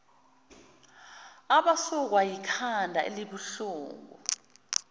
abasukwa yikhanda elibuhlungu